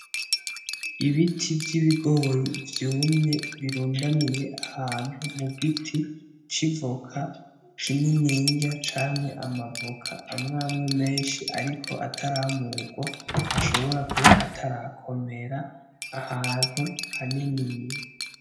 Ibiti vy'ibigori vyumye birundaniye ahantu mu giti c'ivoka kininiya camye amavoka amwe amwe menshi ariko ataramurwa ashobora kuba atarakomera ahantu haniniya.